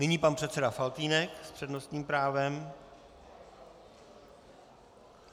Nyní pan předseda Faltýnek s přednostním právem.